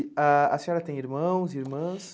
Ah a senhora tem irmãos, irmãs?